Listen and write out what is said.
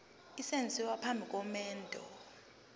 esenziwa phambi komendo